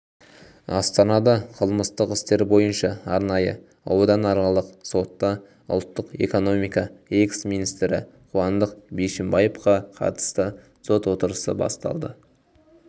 астанада қылмыстық істер бойынша арнайы ауданаралық сотта ұлттық экономика экс-министрі қуандық бишімбаевқа қатысты сот отырысы басталды